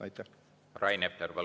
Rain Epler, palun!